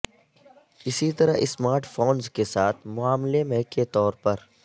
اسی طرح smartphones کے ساتھ معاملے میں کے طور پر